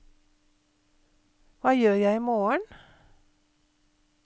hva gjør jeg imorgen